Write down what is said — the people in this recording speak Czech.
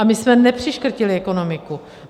A my jsme nepřiškrtili ekonomiku.